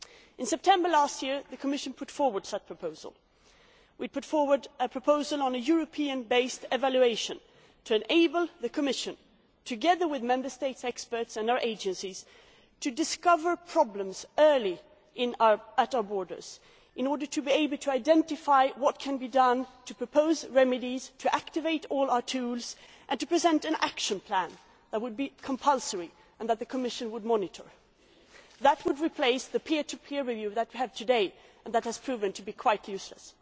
In September last year, the Commission brought forward such a proposal. It brought forward a proposal on a European based evaluation to enable the Commission, together with Member State experts and their agencies, to detect problems early at our borders in order to be able to identify what could be done, to propose remedies, to activate all our tools and to present an action plan that would be compulsory and that the Commission would monitor. This would replace the peer to peer review that we have today and which has proven to be quite useless.